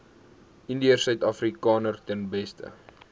indiërsuidafrikaners ten beste